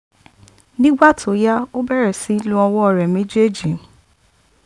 nígbà tó yá ó bẹ̀rẹ̀ sí í lo ọwọ́ rẹ̀ méjèèjì